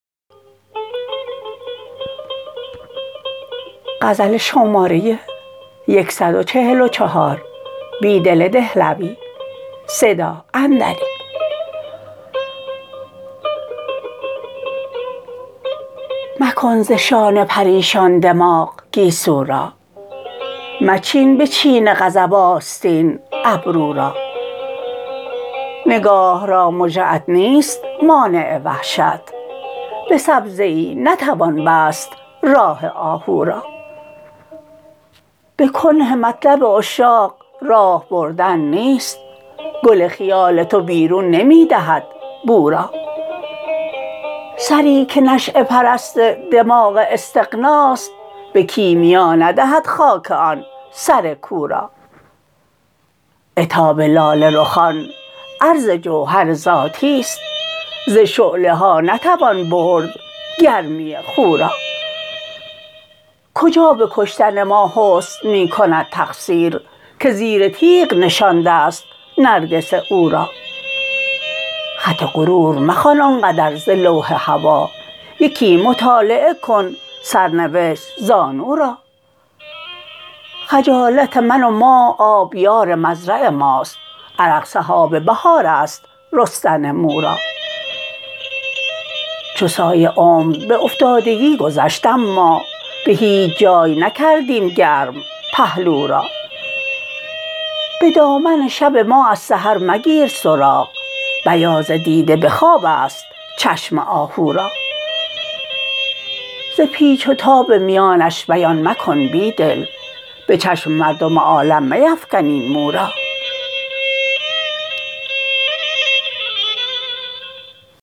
مکن ز شانه پریشان دماغ گیسو را مچین به چین غضب آستین ابرورا نگاه را مژه ات نیست مانع وحشت به سبزه ای نتوان بست راه آهو را به کنه مطلب عشاق راه بردن نیست گل خیال تو بیرون نمی دهد بو را سری که نشیه پرست دماغ استغناست به کیمیا ندهد خاک آن سرکو را عتاب لاله رخان عرض جوهر ذاتی ست ز شعله ها نتوان بردگرمی خو را کجا به کشتن ما حسن می کندتقصیر که زیر تیغ نشانده ست نرگس او را خط غرور مخوان آنقدر ز لوح هوا یکی مطالعه کن سرنوشت زانو را خجالت من و ما آبیار مزرع ماست عرق سحاب بهاراست رستن مو را چو سایه عمر به افتادگی گذشت اما به هیچ جای نکردیم گرم پهلو را به دامن شب ما از سحر مگیر سراغ بیاض دیده به خواب است چشم آهو را ز پیچ وتاب میانش بیان مکن بیدل به چشم مردم عالم میفکن این مو را